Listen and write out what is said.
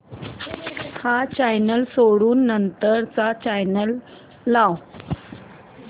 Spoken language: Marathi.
हा चॅनल सोडून नंतर चा चॅनल लाव